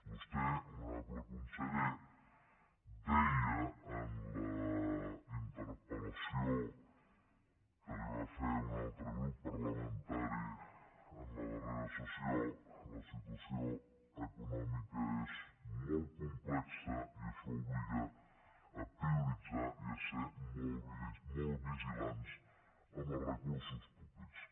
vostè honorable conseller deia en la interpel·lació que li va fer un altre grup parlamentari en la darrera sessió la situació econòmica és molt complexa i això obliga a prioritzar i a ser molt vigilants amb els recursos públics